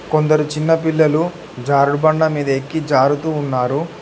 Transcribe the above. కొందరు చిన్న పిల్లలు జారుడుబండ మీద ఎక్కి జారుతూ ఉన్నారు.